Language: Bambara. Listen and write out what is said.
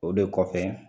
O de kɔfɛ